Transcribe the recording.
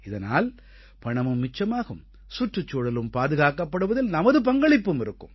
இதனால் பணமும் மிச்சமாகும் சுற்றுச் சூழலும் பாதுகாக்கப்படுவதில் நமது பங்களிப்பும் இருக்கும்